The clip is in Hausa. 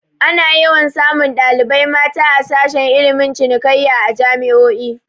Ana yawan samun ɗalibai mata a sashe ilmin cinikayya a jami'o'i